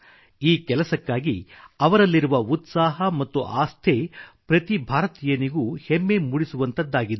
ಈ ಕೆಲಸಕ್ಕಾಗಿ ಅವರಲ್ಲಿರುವ ಉತ್ಸಾಹ ಮತ್ತು ಆಸ್ಥೆ ಪ್ರತಿ ಭಾರತೀಯನಿಗೂ ಹೆಮ್ಮೆ ಮೂಡಿಸುವಂಥದ್ದಾಗಿದೆ